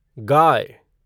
गाय